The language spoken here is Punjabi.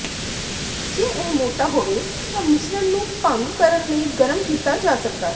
ਜੇ ਇਹ ਮੋਟਾ ਹੋਵੇ ਤਾਂ ਮਿਸ਼ਰਣ ਨੂੰ ਭੰਗ ਕਰਨ ਲਈ ਗਰਮ ਕੀਤਾ ਜਾ ਸਕਦਾ ਹੈ